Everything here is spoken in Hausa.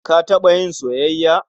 Ka taɓa yin soyayya?